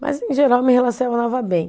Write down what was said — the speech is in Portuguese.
Mas, em geral, eu me relacionava bem.